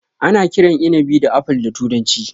Ana kiran inabi da Apple da turanci.